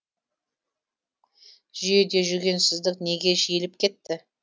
жүйеде жүгенсіздік неге жиілеп кетті